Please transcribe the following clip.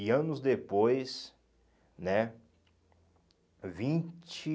E anos depois, né vinte